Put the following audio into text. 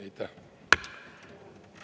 Aitäh!